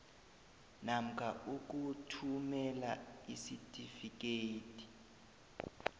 namkha ukuthumela isitifikedi